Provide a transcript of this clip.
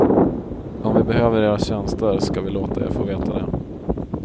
Om vi behöver era tjänster ska vi låta er få veta det.